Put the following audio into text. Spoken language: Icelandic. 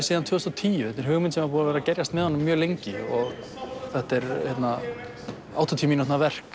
síðan tvö þúsund og tíu þetta er hugmynd sem hafði verið að gerjast með honum mjög lengi þetta er áttatíu mínútna verk